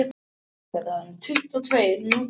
Minnst tvær A 4 síður með 1½ línubili, leturstærð